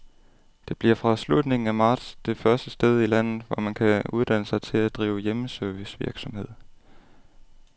Det bliver fra slutningen af marts det første sted i landet, hvor man kan uddanne sig til at drive hjemmeservicevirksomhed.